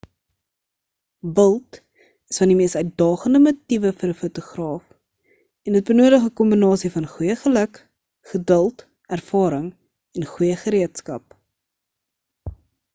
wild is van die mees uitdagende motiewe vir 'n fotograaf en dit benodig 'n kombinasie van goeie geluk geduld ervaring en goeie gereedskap